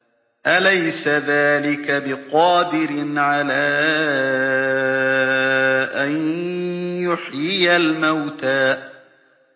أَلَيْسَ ذَٰلِكَ بِقَادِرٍ عَلَىٰ أَن يُحْيِيَ الْمَوْتَىٰ